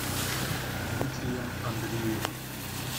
дмитрием андреевым